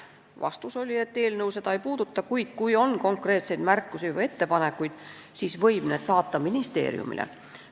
Vastus oli, et eelnõu seda ei puuduta, kuid kui on konkreetseid märkusi või ettepanekuid, siis võib need ministeeriumile saata.